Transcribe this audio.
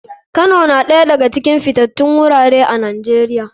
Kano na ɗaya daga cikin fitatun gurare a nijeria.